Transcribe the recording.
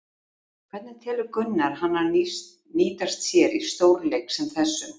Hvernig telur Gunnar hana nýtast sér í stórleik sem þessum?